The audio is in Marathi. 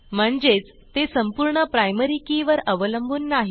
म्हणजेच ते संपूर्ण प्रायमरी के वर अवलंबून नाही